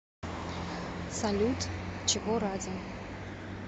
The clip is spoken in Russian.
салют чего ради